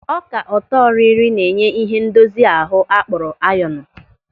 Ọka ọtọrịrị na-enye ịhe ndozi ahụ a kpọrọ ayọnu.